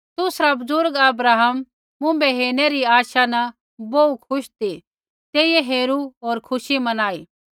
तुसरा बुज़ुर्ग अब्राहम मुँभै हेरणै री आशा न बोहू खुश ती तेइयै हेरू होर खुशी मनाई